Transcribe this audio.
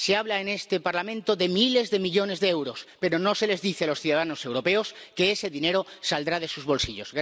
Se habla en este Parlamento de miles de millones de euros, pero no se les dice a los ciudadanos europeos que ese dinero saldrá de sus bolsillos.